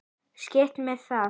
Skítt með það.